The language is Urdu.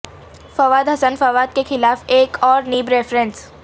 فواد حسن فواد کے خلاف ایک اور نیب ریفرنس